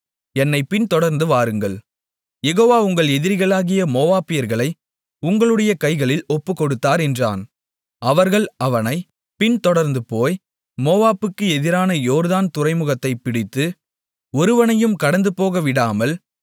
என்னைப் பின்தொடர்ந்து வாருங்கள் யெகோவா உங்கள் எதிரிகளாகிய மோவாபியர்களை உங்களுடைய கைகளில் ஒப்புக்கொடுத்தார் என்றான் அவர்கள் அவனைப் பின்தொடர்ந்துபோய் மோவாபுக்கு எதிரான யோர்தான் துறைமுகத்தைப் பிடித்து ஒருவனையும் கடந்துபோகவிடாமல்